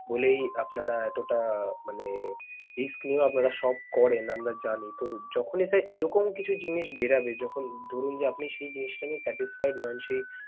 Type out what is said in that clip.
বলেই আপনারা এতোটা মানে risk নিয়েও আপনারা shop করেন, আমরা জানি। তো যখনই sir এরকম কিছু জিনিস বেরবে যখন ধরুন যে আপনি সেই জিনিসটাকে satisfy নন সেই